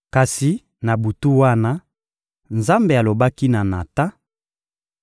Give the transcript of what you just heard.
Kasi na butu wana, Nzambe alobaki na Natan: